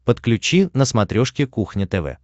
подключи на смотрешке кухня тв